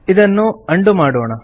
ಇದನ್ನು ಉಂಡೋ ಮಾಡೋಣ